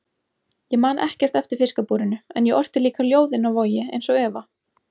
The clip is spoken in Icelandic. Ég man ekkert eftir fiskabúrinu en ég orti líka ljóð inni á Vogi einsog Eva.